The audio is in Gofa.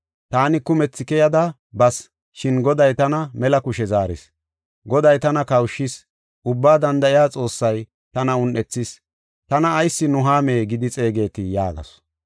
Taani kumethi keyada bas, shin Goday tana mela kushe zaaris. Goday tana kawushshis; ubbaa danda7iya Xoossay tana un7ethis. Tana ayis Nuhaame gidi xeegetii?” yaagasu.